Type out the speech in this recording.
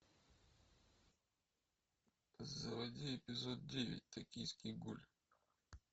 заводи эпизод девять токийский гуль